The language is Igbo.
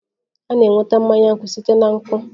A na-enweta mmanya nkwụ site na nkwụ